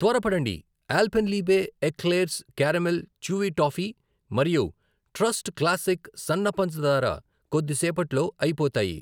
త్వరపడండి, Alpenliebe eclairs caramel chewy toffee మరియు trust classic సన్న పంచదార కొద్దిసేపట్లో అయిపోతాయి.